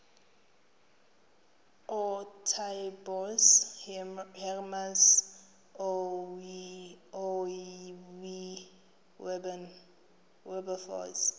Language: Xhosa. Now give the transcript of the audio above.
ootaaibos hermanus oowilberforce